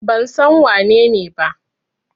Ban san wanene ba.